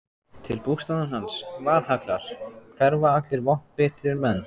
Til bústaðar hans, Valhallar, hverfa allir vopnbitnir menn.